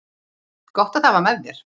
Gott að það var með þér.